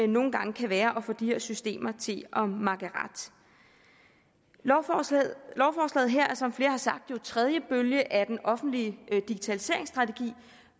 nogle gange kan være at få de her systemer til at makke ret lovforslaget her er som flere har sagt tredje bølge af den offentlige digitaliseringsstrategi